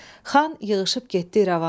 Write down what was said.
Xan yığışıb getdi İrəvana.